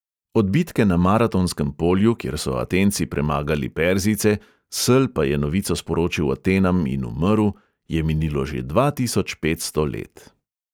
Od bitke na maratonskem polju, kjer so atenci premagali perzijce, sel pa je novico sporočil atenam in umrl, je minilo že dva tisoč petsto let.